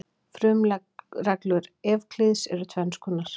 Frumreglur Evklíðs eru tvenns konar.